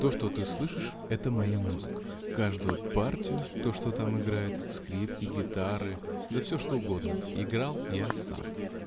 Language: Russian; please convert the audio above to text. то что ты слышишь это моя музыка каждую партию то что там играет скрипки гитары да всё что угодно играл я сам